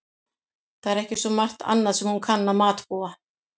Það er ekki svo margt annað sem hún kann að matbúa.